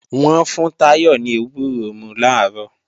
Wọ́n fún Táyọ̀ ní ewúro mú làárọ̀